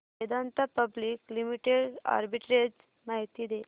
Vedanta public limited arbitrage माहिती दे